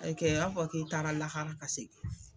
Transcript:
A yi kɛ a fɔ k'i taara lahara ka segin